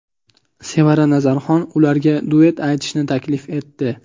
Sevara Nazarxon ularga duet aytishni taklif etdi.